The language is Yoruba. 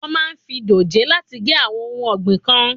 Wọ́n máa ń fi dòjé láti gé àwọn ohun ọ̀gbìn kan.